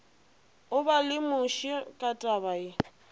o ba lemoše ka tabaye